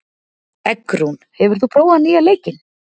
Eggrún, hefur þú prófað nýja leikinn?